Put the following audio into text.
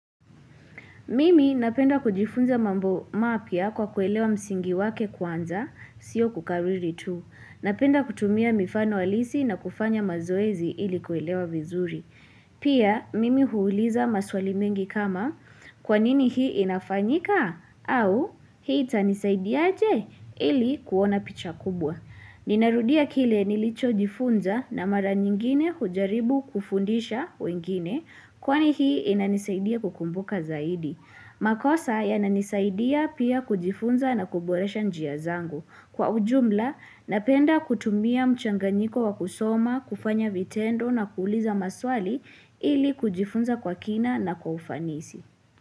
Mimi napenda kujifunza mambo mapya kwa kuelewa msingi wake kwanza, sio kukariri tu. Napenda kutumia mifano alisi na kufanya mazoezi ili kuelewa vizuri. Pia, mimi huuliza maswali mengi kama kwanini hii inafanyika au hii tanisaidiaje ili kuona picha kubwa. Ninarudia kile nilicho jifunza na mara nyingine hujaribu kufundisha wengine kwani hii inanisaidia kukumbuka zaidi. Makosa ya inanisaidia pia kujifunza na kuboresha njia zangu. Kwa ujumla napenda kutumia mchanganyiko wa kusoma, kufanya vitendo na kuuliza maswali ili kujifunza kwa kina na kwa ufanisi.